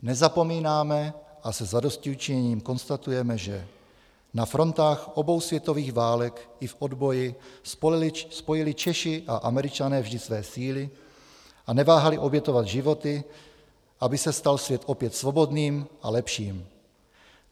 Nezapomínáme a se zadostiučiněním konstatujeme, že na frontách obou světových válek i v odboji spojili Češi a Američané vždy své síly a neváhali obětovat životy, aby se stal svět opět svobodným a lepším.